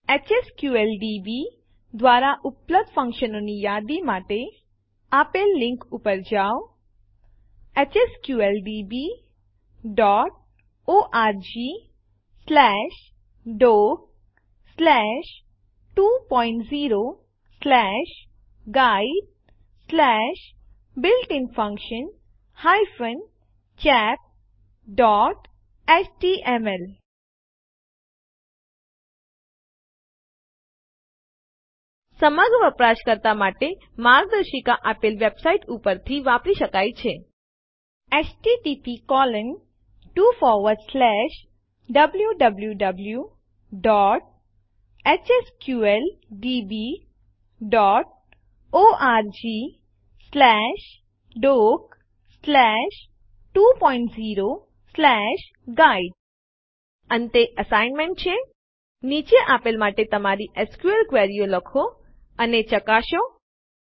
HSQLDB દ્વારા ઉપલબ્ધ ફંકશનોની યાદી માટે આપેલ લીંક પર જાઓ httphsqldborgdoc20guidebuiltinfunctions chapthtml સમગ્ર વપરાશકર્તા માર્ગદર્શિકા આપેલ વેબસાઇટ ઉપરથી વાપરી શકાય છે httpwwwhsqldborgdoc20guide અંતે અસાઇનમેન્ટ છે નીચે આપેલ માટે તમારી એસક્યુએલ ક્વેરીઓ લખો અને ચકાસો ૧